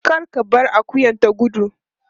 Kar ka bar akuyar ta gudu.